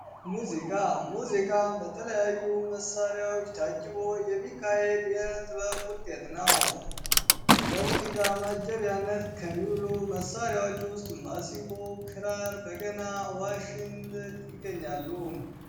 ሙዚቃ ሙዚቃ በተለያዩ መሳሪያዎች ታጅቦ የሚካሄደው የጥበብ ውጤት ነው። ለሙዚቃ ማጀቢያነት ከሚውሉ መሳሪያዎች ውስጥ ማሲንቆ፣ ክራር፣ በገና፣ ዋሽንት ይገኛሉ።